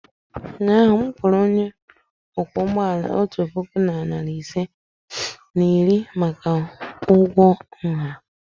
ụnyahụ m kwụrụ onye ọkwọ ụgbọ ala otu puku na narị ise na iri atọ maka ụgwọ nha.